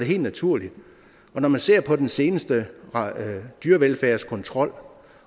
helt naturligt når man ser på den seneste dyrevelfærdskontrol